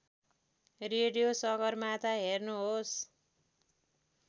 radio Sagarmatha हेर्नुहोस्